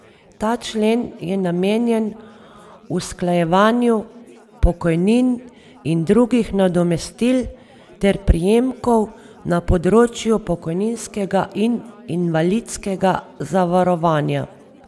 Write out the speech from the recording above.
Ta člen je namenjen usklajevanju pokojnin in drugih nadomestil ter prejemkov na področju pokojninskega in invalidskega zavarovanja.